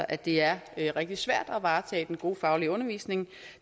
at det er rigtig svært at varetage den gode faglige undervisning